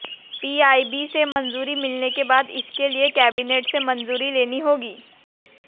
PIB से मंजूरी मिलने के बाद इसके लिए कैबिनेट से मंजूरी लेनी होगी